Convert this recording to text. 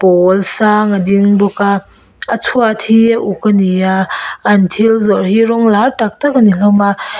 pawl sang a ding bawk a a chhuat hi a uk a ni a an thil zawrh hi rawng lar tak tak a ni hlawm a.